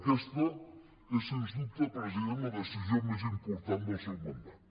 aquesta és sens dubte president la decisió més important del seu mandat